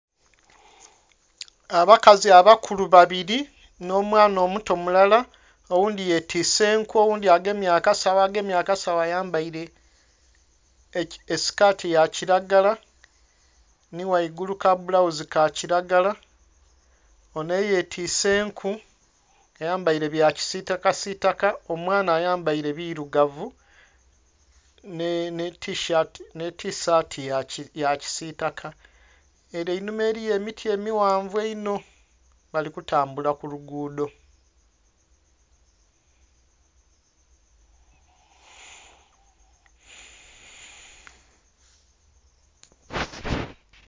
Abakazi abakulu babiri nho mwaana omuto mulala, oghundhi ye twise enku, oghundhi agemye akasagho. Agemye akasagho ayambaire esikati ya kilagala nhi ghaigulu ka bulambuzi ka kilagala. Onho eye twise enku, ayambaire bya kisitaka sitaka omwaana ayambaire birugavu nhi tisaati ya kisitaka ere einhuma eriyo emiti emighanvu einho, bali kutambula ku lugudho.